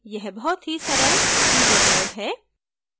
यह बहुत ही सरल teaser mode है